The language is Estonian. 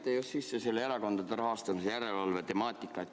Te tõite sisse erakondade rahastamise järelevalve temaatika.